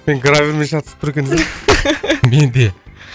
мен грабльмен шатысып тұр екен десем мен де